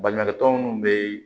Baɲumankɛ tɔn minnu bɛ yen